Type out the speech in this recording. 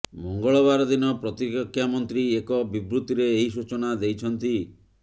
ମଙ୍ଗଳବାର ଦିନ ପ୍ରତିରକ୍ଷା ମନ୍ତ୍ରୀ ଏକ ବିବୃତିରେ ଏହି ସୂଚନା ଦେଇଛନ୍ତି